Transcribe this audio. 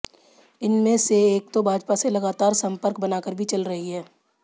इनमें से एक तो भाजपा से लगातार संपर्क बनाकर भी चल रही हैं